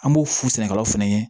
An b'o f'u sɛnɛkɛlaw fɛnɛ ye